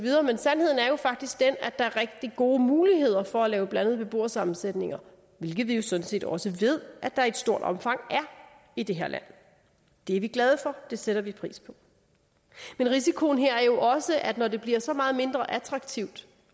sandheden er faktisk den at der er rigtig gode muligheder for at lave blandet beboersammensætning hvilket vi jo sådan set også ved at der i stort omfang er i det her land det er vi glade for det sætter vi pris på men risikoen her er jo også at når det bliver så meget mindre attraktivt